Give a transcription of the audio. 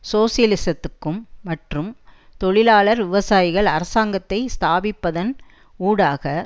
சோசலிசத்துக்கும் மற்றும் தொழிலாளர் விவசாயிகள் அரசாங்கத்தை ஸ்தாபிப்பதன் ஊடாக